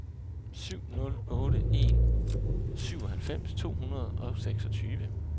syv nul otte en syvoghalvfems to hundrede og seksogtyve